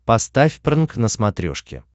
поставь прнк на смотрешке